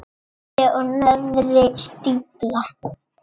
Efri og neðri stífla.